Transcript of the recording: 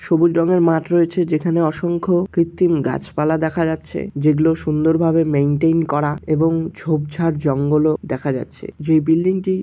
সবুজ রঙের মাঠ রয়েছে যেখানে অসংখ্য কৃত্রিম গাছপালা দেখা যাচ্ছে যেগুলো সুন্দরভাবে মেইনটেইন করা এবং ঝোপ ঝাড় জঙ্গল ও দেখা যাচ্ছে যে বিল্ডিং --